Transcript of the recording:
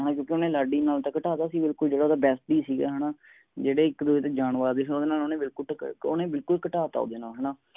ਘਟਾਤਾ ਸੀ ਬਿਲਕੁਲ ਜੇੜਾ ਉਹਦਾ besitie ਸੀ ਗਾ ਹੈਨਾ ਜੇਡੇ ਇਕ ਦੂਜੇ ਦੇ ਜਾਨ ਵਾਰਦੇ ਸੀ ਓਹਨੇ ਬਿਲਕੁਲ ਘਟਾਤਾ ਸੀਗਾ